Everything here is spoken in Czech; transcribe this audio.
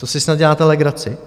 To si snad děláte legraci!